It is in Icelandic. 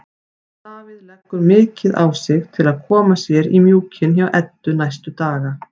Davíð leggur mikið á sig til að koma sér í mjúkinn hjá Eddu næstu daga.